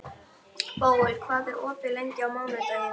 Bóel, hvað er opið lengi á mánudaginn?